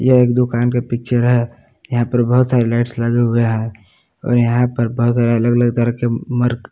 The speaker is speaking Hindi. यह एक दुकान के पिक्चर है यहां पर बहुत सारी लाइट्स लगे हुए हैं और यहां पर बहुत सारे अलग अलग तरह के मर्क--